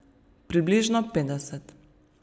Približno petdeset.